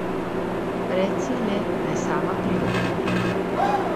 Reci ji le, naj sama pride ponje.